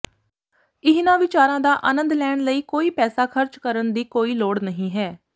ਇਹਨਾਂ ਵਿਚਾਰਾਂ ਦਾ ਅਨੰਦ ਲੈਣ ਲਈ ਕੋਈ ਪੈਸਾ ਖਰਚ ਕਰਨ ਦੀ ਕੋਈ ਲੋੜ ਨਹੀਂ ਹੈ